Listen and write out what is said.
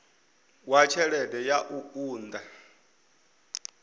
wa tshelede ya u unḓa